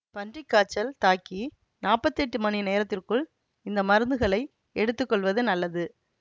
பன்றி காய்ச்சல் தாக்கி நாப்பத்தி எட்டு மணி நேரத்திற்குள் இந்த மருந்துகளை எடுத்து கொள்வது நல்லது